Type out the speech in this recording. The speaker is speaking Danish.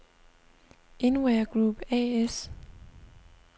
InWear Group A/S